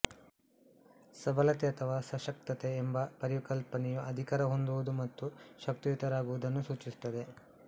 ಸಬಲತೆ ಅಥವಾ ಸಶಕ್ತತೆ ಎಂಬ ಪರಿಕಲ್ಪನೆಯು ಅಧಿಕಾರ ಹೊಂದುವುದು ಮತ್ತು ಶಕ್ತಿಯುತರಾಗುವುದುನ್ನು ಸೂಚಿಸುತ್ತದೆ